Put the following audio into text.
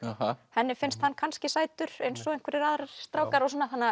henni finnst hann kannski sætur eins og einhverjir aðrir strákar